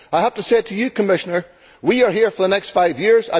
I have to say to you, Commissioner, that we are here for the next five years.